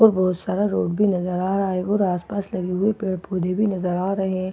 और बहुत सारा रोड भी नजर आ रहा है और आसपास लगे हुए पेड़ पौधे भी नजर आ रहे हैं वो